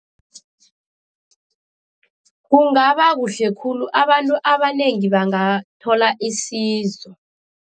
Kungabakuhle khulu, abantu abanengi bangathola isizo.